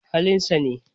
Halin sa ne